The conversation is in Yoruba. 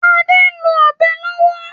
Ade n lo Ọ̀bẹ lówó.